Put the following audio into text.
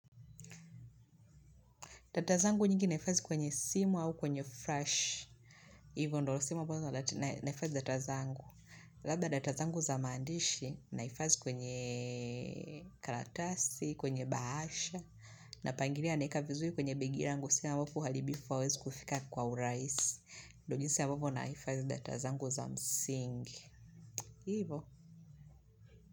Data zangu nyingi nahifadhi kwenye simu au kwenye flash. Hivyo ndyo sehemu ambazo nahifadhii data zangu. Labda data zangu za maandishi nahifadhi kwenye kartasi kwenye bahasha. Napangilia naeka vizuri kwenye begi langu. Sasa watu haribifu hawawezi kufika kwa urahisi. Nfyo jinsi ambavyo nahifadhi data zangu za msingi. Ni hivo.